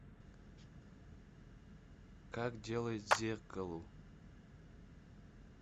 как делать зеркалу